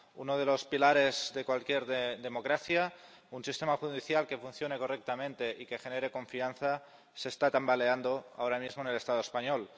Uno de los pilares de cualquier de democracia, un sistema judicial que funcione correctamente y que genere confianza, se está tambaleando ahora mismo en el Estado español.